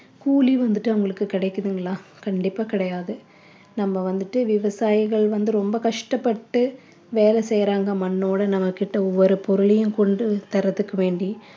கூலி வந்துட்டு அவங்களுக்கு கிடைக்குதுங்களா கண்டிப்பா கிடையாது நம்ம வந்துட்டு விவசாயிகள் வந்து ரொம்ப கஷ்டபட்டு வேலை செய்றாங்க மண்ணோட நம்மகிட்ட ஒவ்வொரு பொருளையும் கொண்டு தரத்துக்கு வேண்டி